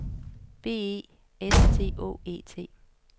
B E S T Å E T